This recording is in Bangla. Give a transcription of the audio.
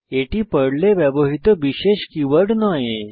এটি পর্লে ব্যবহৃত বিশেষ কীওয়ার্ড নয়